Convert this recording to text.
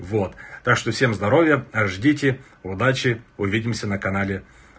вот так что всем здоровья ждите удачи увидимся на канале